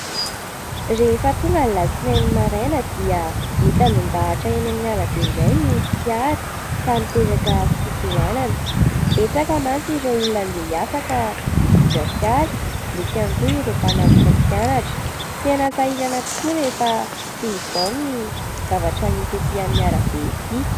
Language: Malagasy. Rehefa tonga ny alatsinainy maraina, dia mitandahatra eny amin'ny arabe indray ny fiara, ka miteraka fitohanana. Betsaka mantsy ireo olona handeha hiasa, ka mitondra fiara, misy ihany koa ireo mpanatitra mpianatra ; tena sahirana tokoa rehefa toy izao ny zavatra misy etỳ amin'ny arabe etỳ.